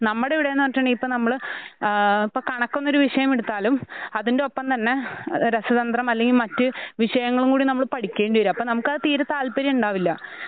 നമ്മുടെ ഇവിടെന്ന് പറഞ്ഞിട്ടുണ്ടെങ്കി ഇപ്പ നമ്മള് ആഹ് ഇപ്പ കണക്കെന്നൊരു വിഷയമെടുത്താലും അതിന്റൊപ്പംതന്നെഹ് രസതന്ത്രം അല്ലെങ്കി മറ്റ് വിഷയങ്ങളുംകൂടി നമ്മൾ പഠിക്കേണ്ടിവരും. അപ്പ അത് തീരെ താല്പര്യയുണ്ടാവില്ല.